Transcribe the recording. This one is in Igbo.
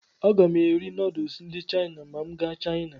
Aga m eri nuduls ndị Chaina ma m gaa Chaina.